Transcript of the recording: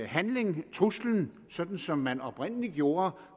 handling truslen sådan som man oprindelig gjorde